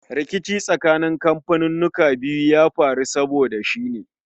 Rikici tsakanin kamfaninnika biyun ya faru saboda shi ne